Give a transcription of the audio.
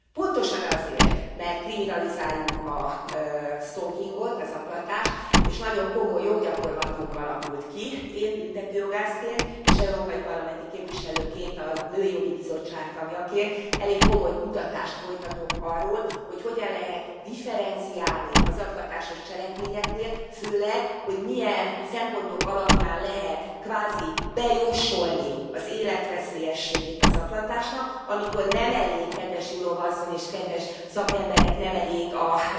Pontosan azért, mert kriminalizáljuk a stalkingot, a zaklatást, és nagyon komoly joggyakorlatunk alakult ki, én büntetőjogászként és európai parlamenti képviselőként, a nőjogi bizottság tagjaként elég komoly kutatást folytatok arról, hogy hogyan lehet differenciálni a zaklatásos cselekményeknél, főleg, hogy milyen szempontok alapján lehet kvázi bejósolni az életveszélyességét a zaklatásnak, amikor nem elég, kedves Jurová Asszony és kedves szakemberek, nem elég a